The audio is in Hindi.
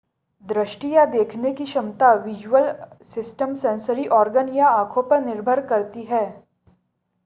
दृष्टि या देखने की क्षमता विज़ुअल सिस्टम सेंसरी ऑर्गन्स या आंखों पर निर्भर करती है